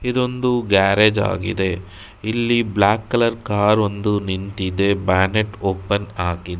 ಇದೊಂದು ಗ್ಯಾರೇಜ್ ಆಗಿದೆ ಇಲ್ಲಿ ಬ್ಲಾಕ್ ಕಲರ್ ಕಾರೊಂದು ನಿಂತಿದೆ ಬ್ಯಾನೆಟ್ ಓಪನ್ ಆಗಿದೆ.